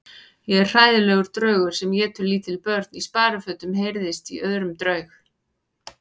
Ég er hræðilegur draugur sem étur lítil börn í sparifötum heyrðist í öðrum draug.